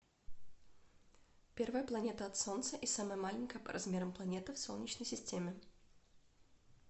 первая планета от солнца и самая маленькая по размерам планета в солнечной системе